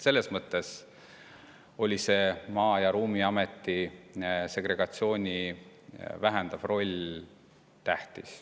Selles mõttes oli see Maa‑ ja Ruumiameti segregatsiooni vähendav roll tähtis.